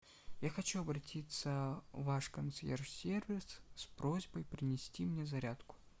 я хочу обратиться в ваш консьерж сервис с просьбой принести мне зарядку